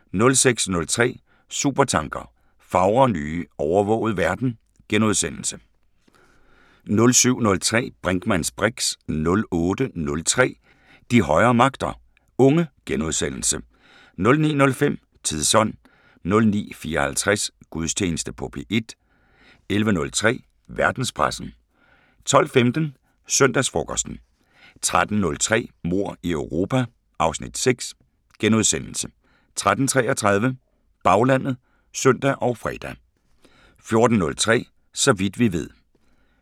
06:03: Supertanker: Fagre nye, overvågede verden * 07:03: Brinkmanns briks 08:03: De højere magter: Unge * 09:05: Tidsånd 09:54: Gudstjeneste på P1 11:03: Verdenspressen 12:15: Søndagsfrokosten 13:03: Mord i Europa (Afs. 6)* 13:33: Baglandet (søn og fre) 14:03: Så vidt vi ved